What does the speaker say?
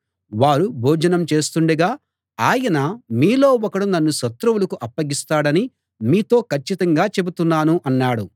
వారు భోజనం చేస్తుండగా ఆయన మీలో ఒకడు నన్ను శత్రువులకు అప్పగిస్తాడని మీతో కచ్చితంగా చెబుతున్నాను అన్నాడు